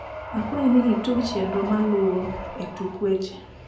akwai ni itug chenro maluo e tuk weche